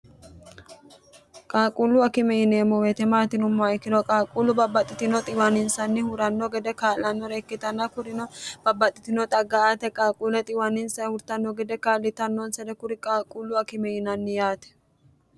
qaaquullu akime yineemmo weete maati yinumoha ikkiro qaaquullu babbaxxitino xiwaninsanni huranno gede kaa'lannore ikkitanna kurino babbaxxitino xagga aate qaalquule xiwaninsa hurtanno gede kaallitannoonsere kuri qaalquullu akime yinanni yaate